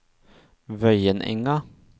Vøyenenga